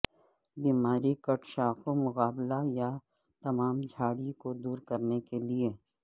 بیماری کٹ شاخوں مقابلہ یا تمام جھاڑی کو دور کرنے کے لئے